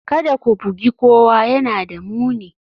Kada ku bugi kowa, yana da muni